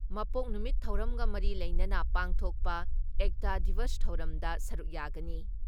ꯃꯄꯣꯛ ꯅꯨꯃꯤꯠ ꯊꯧꯔꯝꯒ ꯃꯔꯤ ꯂꯩꯅꯅ ꯄꯥꯡꯊꯣꯛꯄ ꯑꯦꯛꯇꯥ ꯗꯤꯕꯁ ꯊꯧꯔꯝꯗ ꯁꯔꯨꯛ ꯌꯥꯒꯅꯤ ꯫